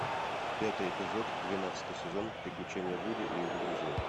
пятый эпизод двенадцатый сезон приключения вуди и его друзей